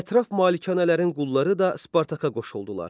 Ətraf malkələrin qulları da Spartaka qoşuldular.